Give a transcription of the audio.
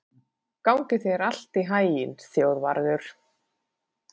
Gangi þér allt í haginn, Þjóðvarður.